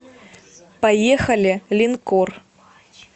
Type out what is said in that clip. поехали линкор